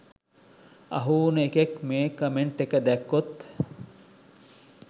අහු උන එකෙක් මේ කමෙන්ට් එක දැක්කොත්